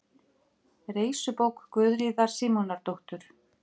Reisubók Guðríðar Símonardóttur.